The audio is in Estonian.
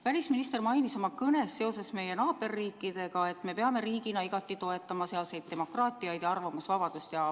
Välisminister mainis oma kõnes seoses meie naaberriikidega, et me peame riigina igati toetama sealset demokraatiat ja arvamusvabadust.